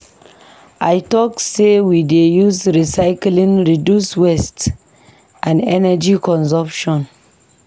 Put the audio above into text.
I tok sey we dey use recyclying reduce waste and energy consumption.